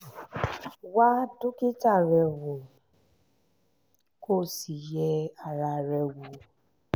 wá dókítà rẹ wò kó sì yẹ ara rẹ wò